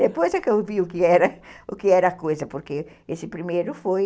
Depois é que eu vi o que era o que era a coisa, porque esse primeiro foi...